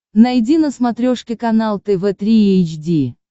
найди на смотрешке канал тв три эйч ди